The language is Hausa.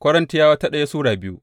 daya Korintiyawa Sura biyu